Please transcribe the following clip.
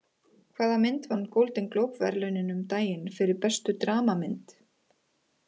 Hvaða mynd vann Golden Globe verðlaunin um daginn fyrir bestu dramamynd?